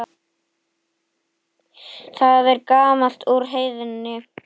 Það er gamalt úr Heiðni!